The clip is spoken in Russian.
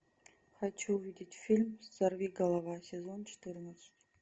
хочу увидеть фильм сорвиголова сезон четырнадцать